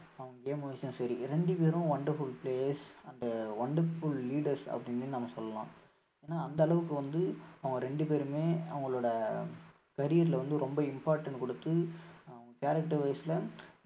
அவங்க game wise ம் சரி இரண்டு பேரும் wonderful players and wonderful leaders அப்படின்னு நம்ம சொல்லலாம் ஏன்னா அந்த அளவுக்கு வந்து அவங்க ரெண்டு பேருமே அவங்களோட career ல வந்து ரொம்ப important கொடுத்து அவங்க character wise ல